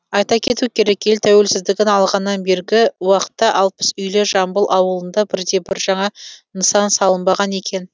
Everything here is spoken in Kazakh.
айта кету керек ел тәуелсіздігін алғаннан бергі уақытта алпыс үйлі жамбыл ауылында бірде бір жаңа нысан салынбаған екен